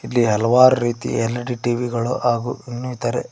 ಇಲ್ಲಿ ಹಲವಾರು ರೀತಿ ಎಲ್_ಇ_ಡಿ ಟಿ_ವಿ ಗಳು ಹಾಗು ಇನ್ನಿತರೆ--